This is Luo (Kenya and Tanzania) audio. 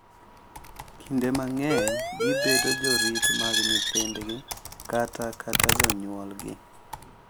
Kinde mang’eny gibedo jorit mag nyithindgi kata kata jonyuolgi.